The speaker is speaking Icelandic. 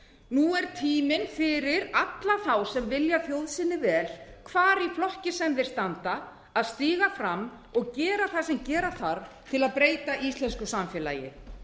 nú er tíminn fyrir alla þá sem vilja þjóð sinni vel hvar í flokki sem þeir standa að stíga fram og gera það sem gera þarf til að breyta íslensku samfélagi